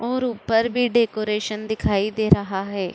और ऊपर भी डेकोरेशन दिखाई दे रहा है।